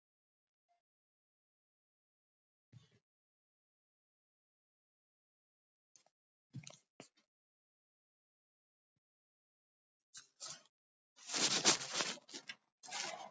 Vill sjálfsagt fullvissa sig um að úr náist bletturinn.